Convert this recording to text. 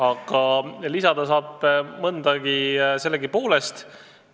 Aga lisada saab sellegipoolest mõndagi.